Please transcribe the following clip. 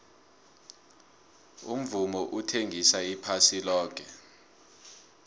umvumo uthengisa iphasi loke